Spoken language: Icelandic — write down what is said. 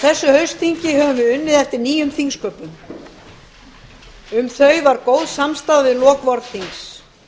þessu haustþingi höfum við unnið eftir nýjum þingsköpum um þau var góð samstaða í lok vorþings